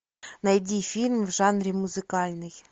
найди фильм в жанре музыкальный